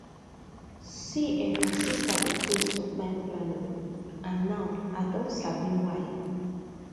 see[um]my sister dey craze for time planning and now i don sabi why